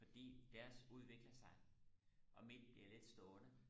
fordi deres udvikler sig og mit bliver lidt stående